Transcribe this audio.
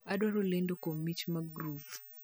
Adwaro lendo kuom mich mag groove